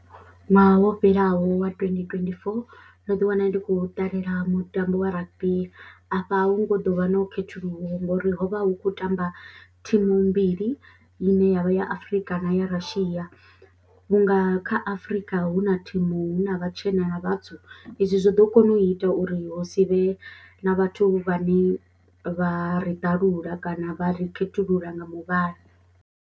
Ṅwaha wo fhelaho wa twendi twendi four ndo ḓiwana ndi khou ṱalela mutambo wa rugby afha a hu ngo ḓo vha no khethululwa ngori ho vha hu khou tamba thimu mbili ine ya vha ya Afrika na ya Russia vhunga kha Afrika hu na thimu, hu na vhatshena na vhatswu izwo zwo ḓo kona u ita uri hu si vhe na vhathu vhane vha ri ṱalula kana vha ri khethulula nga muvhala.